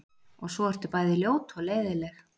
Og svo ertu bæði ljót og leiðinleg.